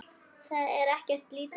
Það er ekkert lítið!